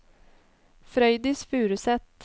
Frøydis Furuseth